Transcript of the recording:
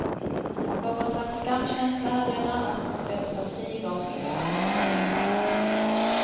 Av någon slags skamkänsla hade jag närmast beslutat att tiga om insamlingsresultatet.